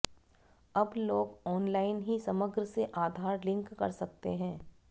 अब लोग ऑनलाइन ही समग्र से आधार लिंक कर सकते हैं